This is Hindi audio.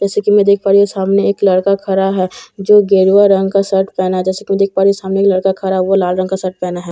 जैसे कि मैं देख पा रही हूँ सामने एक लड़का खड़ा है जो की गेरुआ रंग का शर्ट पेहना है जैसे कि मैं देख पा रही हूँ कि सामने एक लड़का खड़ा हुआ लाल रंग का शर्ट पेहना है।